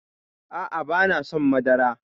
A'a banason madara